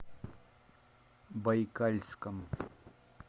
байкальском